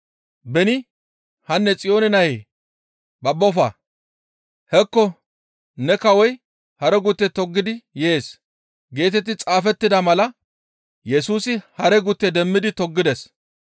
Beni, «Hanne! Xiyoone nayee, babbofa! Hekko ne kawoy hare gutte toggidi yees» geetetti xaafettida mala Yesusi hare gutte demmidi toggides.